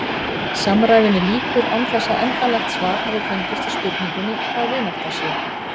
Samræðunni lýkur án þess að endanlegt svar hafi fengist við spurningunni hvað vinátta sé.